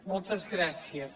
moltes gràcies